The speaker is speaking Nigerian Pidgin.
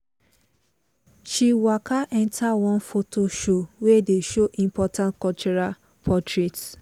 she waka enter one photo show wey dey show important cultural portraits.